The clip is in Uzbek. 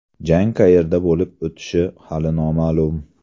Jang qayerda bo‘lib o‘tishi hali noma’lum.